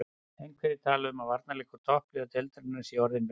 Einhverjir tala um að varnarleikur toppliða deildarinnar sé orðinn verri.